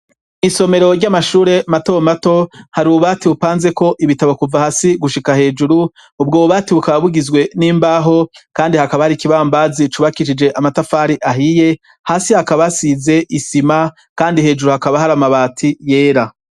Isomero ry'amashure matomato hari uwubati bupanzeko ibitabo kuva hasi gushika hejuru ubwo bubati bukaba bugizwe n'imbaho, kandi hakaba hari ikibambazi c'ubakishije amatafari ahiye hasi hakabasize isima, kandi hejuru hakaba hari amabati yera.